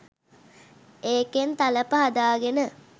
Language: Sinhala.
ඒකෙන් තලප හදාගෙන